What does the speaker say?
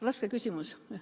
Raske küsimus.